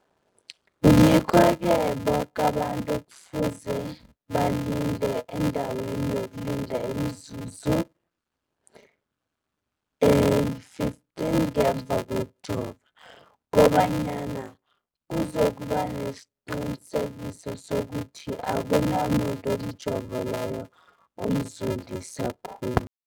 Ngikho-ke boke abantu kufuze balinde endaweni yokulinda imizuzu eli-15 ngemva kokujova, koba nyana kuzokuba nesiqiniseko sokuthi akunamuntu umjovo loyo omzondisa khulu.